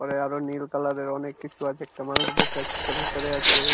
উপরে আর ও নীল কালার -এর অনেক কিছু আছে একটা মানুষ বসে আছে একটা ভিতরে আছে।